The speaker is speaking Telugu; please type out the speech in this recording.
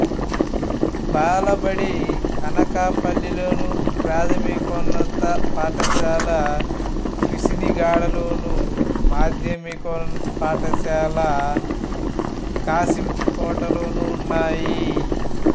బాలబడి అనకాపల్లిలోను ప్రాథమికోన్నత పాఠశాల పిసినిగాడలోను మాధ్యమిక పాఠశాల కశింకోటలోనూ ఉన్నాయి